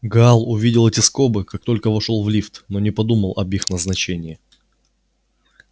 гаал увидел эти скобы как только вошёл в лифт но не подумал об их назначении